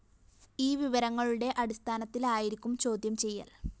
ഈ വിവരങ്ങളുടെ അടിസ്ഥാനത്തിലായിരിക്കും ചോദ്യം ചെയ്യല്‍